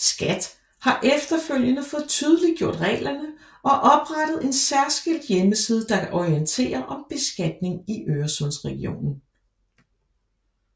SKAT har efterfølgende fået tydeliggjort reglerne og oprettet en særskilt hjemmeside der orienterer om beskatning i Øresundregionen